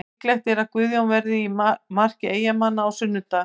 Líklegt er að Guðjón verði í marki Eyjamanna á sunnudag.